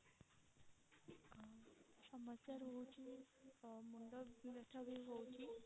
ଆଉ ସମସ୍ୟା ରହୁଛି ମୁଣ୍ଡ ବ୍ୟଥା ବି ହୋଉଛି